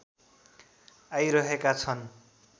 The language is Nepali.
आइरहेका छन्